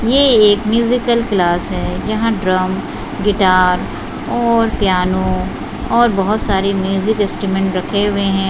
ये एक musical class है जहाँ ड्रम गिटार और पियानो और बहुत सारे म्यूजिक स्ट्रूमेंट रखे हुए हैं।